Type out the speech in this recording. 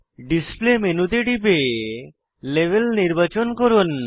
display মেনুতে টিপে label নির্বাচন করুন